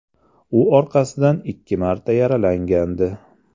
U orqasidan ikki marta yaralangandi.